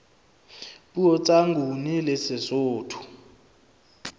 puo tsa nguni le sesotho